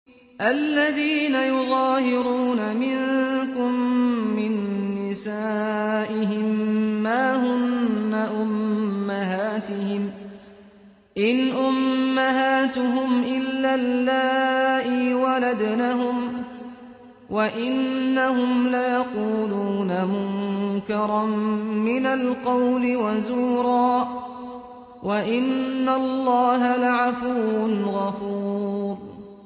الَّذِينَ يُظَاهِرُونَ مِنكُم مِّن نِّسَائِهِم مَّا هُنَّ أُمَّهَاتِهِمْ ۖ إِنْ أُمَّهَاتُهُمْ إِلَّا اللَّائِي وَلَدْنَهُمْ ۚ وَإِنَّهُمْ لَيَقُولُونَ مُنكَرًا مِّنَ الْقَوْلِ وَزُورًا ۚ وَإِنَّ اللَّهَ لَعَفُوٌّ غَفُورٌ